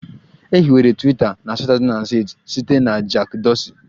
E hiwere Twiita na 2006 site na Jack Dorsey